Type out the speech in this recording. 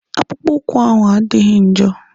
Akpụkpọ ụkwụ ahụ adịghị njọ.